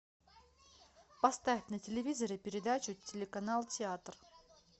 поставь на телевизоре передачу телеканал театр